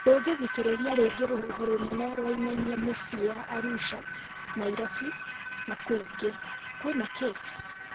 Ndũngĩthikĩrĩria ringĩ rũhuho mũnene wainaninia mĩcii ya Arusha, Nairobi na kwingĩ, kwina kĩĩ?